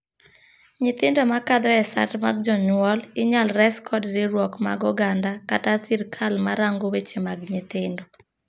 Nyithindo ma kadho e sand mag jonyuol inyal resi kod riwruok mag oganda kata sirkal ma rango weche mag nythindo.